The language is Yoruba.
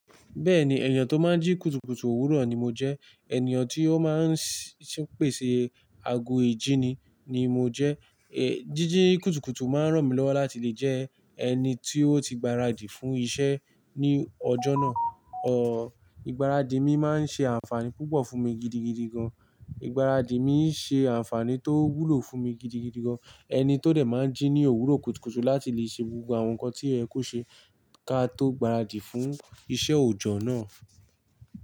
Bẹ́ẹ̀ni, ènìyàn tó máa ń jí kùtùkùtù òwúrọ̀ ni mo jẹ́. Ènìyàn tí ó máa ń ṣe, pèsè ago ìjíni ni mo jẹ́. È, jíjí kùtùkùtù máa ń ràn mí lọ́wọ́ láti lè jẹ́ ẹni tí ó ti gbaradì fún iṣẹ́ ní ọjọ́ náà. Ọ, ìgbáradì mi máa ń ṣe àǹfààní púpọ̀ fún mi gidigidi gan. Ìgbáradì mi ń ṣe àǹfààní tó wúlò fún mi gidigidi gan. Ẹni tó dẹ̀ máa ń jí ní òwúrọ̀ kùtùkùtù láti lè ṣe gbogbo àwọn nǹkan tí ẹ kò ṣe ka tó gbaradì fún iṣẹ́ òjọ́ náà.